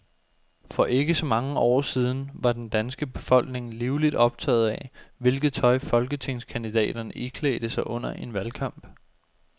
For ikke så mange år siden var den danske befolkning livligt optaget af, hvilket tøj folketingskandidaterne iklædte sig under en valgkamp.